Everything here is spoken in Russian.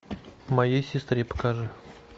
моей сестре покажи